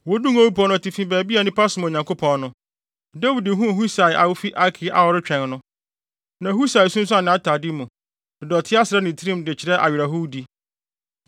Woduu Ngo Bepɔw no atifi baabi a nnipa som Onyankopɔn no, Dawid huu Husai a ofi Arki a ɔretwɛn no. Na Husai asunsuan nʼatade mu, de dɔte asra ne tirim, de kyerɛ awerɛhowdi.